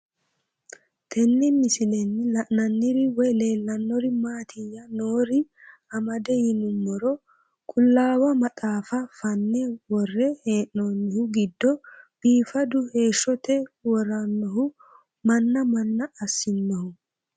Tenne misilenni la'nanniri woy leellannori maattiya noori amadde yinummoro qulaawa maxaaffa faanne woree hee'noonnihu giddo biiffaddu heeshote worannohu manna manna asinnohu